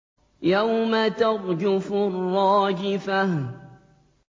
يَوْمَ تَرْجُفُ الرَّاجِفَةُ